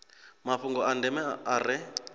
mafhungo a ndeme a re